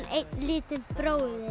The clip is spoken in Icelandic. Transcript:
einn lítinn bróður